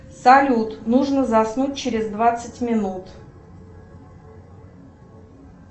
салют нужно заснуть через двадцать минут